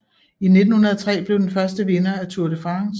I 1903 blev den første vinder af Tour de France